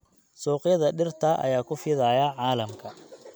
Suuqyada dhirta ayaa ku fidaya caalamka.